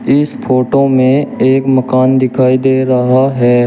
इस फोटो मे एक मकान दिखाई दे रहा है।